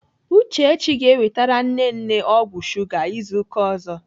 Uchechi ga-ewetere nne nne ọgwụ shuga izu ụka ọzọ.